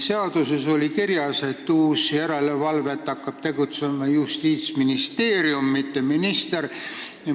Seaduses oli kirjas, et uue järelevalvega hakkab tegelema Justiitsministeerium, mitte minister.